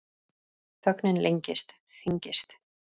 Þögnin lengist, þyngist.